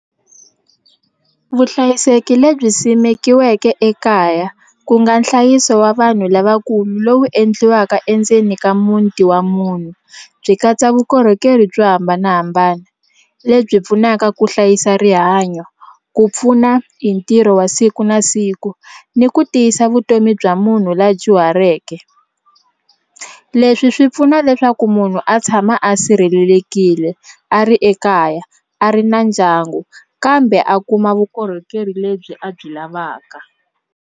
Vuhlayiseki lebyi simekiweke ekaya ku nga nhlayiso wa vanhu lavakulu lowu endliwaka endzeni ka muti wa munhu byi katsa vukorhokeri byo hambanahambana lebyi pfunaka ku hlayisa rihanyo ku pfuna hi ntirho wa siku na siku ni ku tiyisa vutomi bya munhu la dyuhareke leswi leswi swi pfuna leswaku munhu a tshama a sirhelelekile a ri ekaya a ri na ndyangu kambe a kuma vukorhokeri lebyi a byi lavaka.